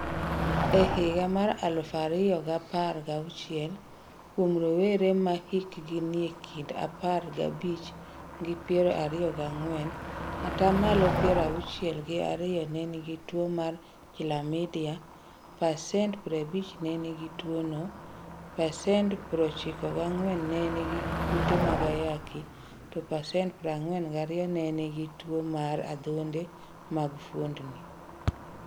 E higa mar aluf ariyo gapar giauchiel, kuom rowere ma hikgi nie kind apar gabich gi piero ariyo giang'wen, atamalo piero auchiel gi ariyo ne nigi tuwo mar chlamydia, pasent 50 ne nigi tuwono, pasent 49 ne nigi kute mag ayaki, to pasent 42 ne nigi tuwo mar adhonde mag fuondni.